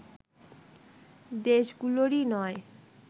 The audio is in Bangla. দেশগুলোরই নয়